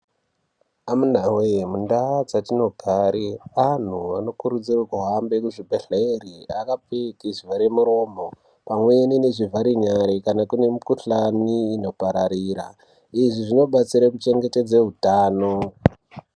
Amunawee mundaa dzatinogare anhu anokurudzirwe kuhambe kuchibhedhlere akapfeke zvivhare muromo pamweni nezvivhare nyara kana kune mukuhlani inopararira izvi zvinobatsira kuchengetedze utano.